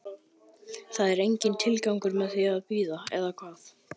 Það er enginn tilgangur með því að bíða, eða hvað?